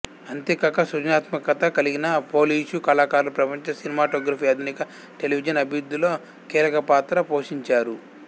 అంతేకాక సృజనాత్మకత కలిగిన పోలిషు కళాకారులు ప్రపంచ సినిమాటోగ్రఫీ ఆధునిక టెలివిజన్ అభివృద్ధిలో కీలక పాత్ర పోషించారు